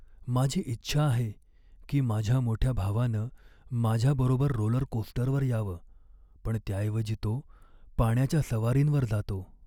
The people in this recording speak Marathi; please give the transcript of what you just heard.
माझी इच्छा आहे की माझ्या मोठ्या भावानं माझ्याबरोबर रोलरकोस्टरवर यावं. पण त्याऐवजी तो पाण्याच्या सवारींवर जातो.